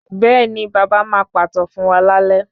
Bẹ́ẹ̀ni, baba máa pàtàn fún wa lálẹ́